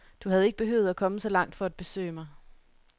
Du havde ikke behøvet at komme så langt for at besøge mig.